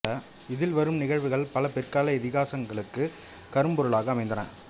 இதில் வரும் நிகழ்வுகள் பல பிற்கால இதிகாசங்களுக்குக் கருப்பொருளாக அமைந்தன